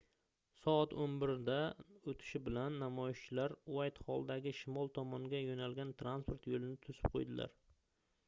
soat 11:00 dan oʻtishi bilan namoyishchilar uaytxolldagi shimol tomonga yoʻnalgan transport yoʻlini toʻsib qoʻydilar